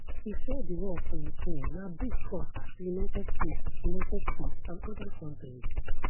e say di war for ukraine na big cost to united states united states and oda kontris